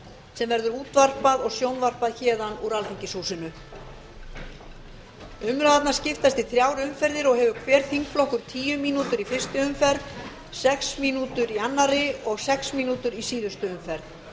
sem verður útvarpað og sjónvarpað héðan úr alþingishúsinu umræðurnar skiptast í þrjár umferðir og hefur hver þingflokkur tíu mínútur í fyrstu umferð sex mínútur í annarri og sex mínútur í síðustu umferð